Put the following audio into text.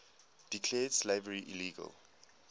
declared slavery illegal